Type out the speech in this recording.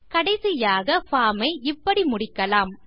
கடைசியாக பார்ம் ஐ இப்படி முடிக்கலாம்